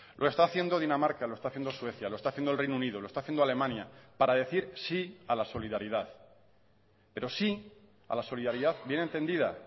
lo está haciendo dinamarca lo está haciendo suecia lo está haciendo el reino unido lo está haciendo alemania para decir sí a la solidaridad pero sí a la solidaridad bien entendida